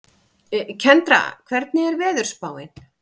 Kendra, hvernig er veðurspáin?